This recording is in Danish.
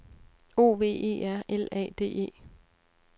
O V E R L A D E